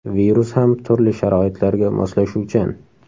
Virus ham turli sharoitlarga moslashuvchan.